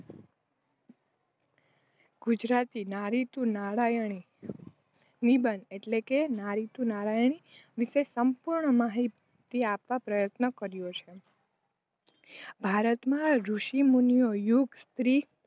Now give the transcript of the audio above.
ગુજરાતી નારી તું નારાયણી નિબંધ એટલેકે નારી તું નારાયણી વિષે સંપૂર્ણ માહિતી આપવા પ્રયત્ન કર્યો છે. ભારતમાં ઋષિમુનિ ઓ યુગ સ્ત્રી